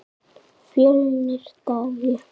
Fjölnir Daði.